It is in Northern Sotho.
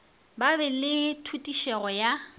ba be le tšhutišego ya